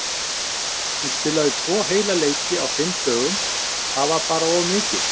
Hún spilaði tvo heila leiki á fimm dögum og það var bara of mikið.